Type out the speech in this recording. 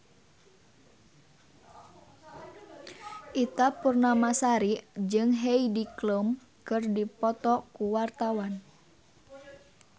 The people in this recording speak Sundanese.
Ita Purnamasari jeung Heidi Klum keur dipoto ku wartawan